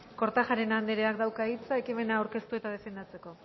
kortajarena andreak dauka hitza ekimena aurkeztu eta defendatzeko